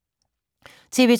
TV 2